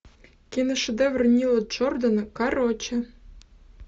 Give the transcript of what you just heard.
киношедевр нила джордана короче